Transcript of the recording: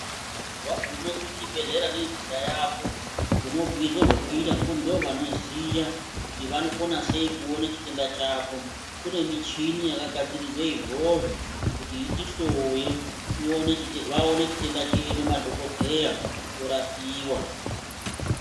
Waguma kuchibhehlera nenhenda yako unobhuirwa zvokuita ngekuti ndovanoziya kuti vanokona sei kuona chitenda chako. Kune michini yakagadzirirwa izvozvo kuti iti hloye tione vaone chitenda chedu madhokodheya torapiwa